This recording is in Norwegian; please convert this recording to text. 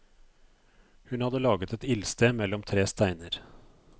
Hun hadde laget et ildsted mellom tre steiner.